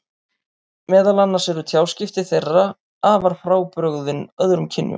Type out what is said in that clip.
Meðal annars eru tjáskipti þeirra þeirra afar frábrugðin öðrum kynjum.